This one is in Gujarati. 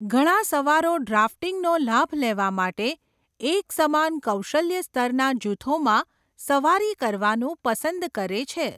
ઘણા સવારો ડ્રાફ્ટિંગનો લાભ લેવા માટે એકસમાન કૌશલ્ય સ્તરના જૂથોમાં સવારી કરવાનું પસંદ કરે છે.